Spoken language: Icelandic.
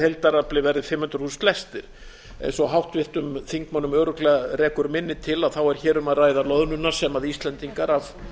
heildarafli verði fimm hundruð þúsund lestir eins og háttvirtir þingmenn örugglega rekur minni til er hér um að ræða loðnuna sem íslendingar af